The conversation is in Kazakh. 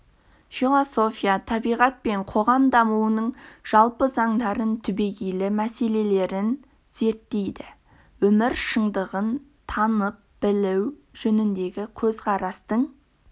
философия табиғат пен қоғам дамуының жалпы заңдарын түбегейлі мәселелерін зерттейді өмір шындығын танып білу жөніндегі көзқарастың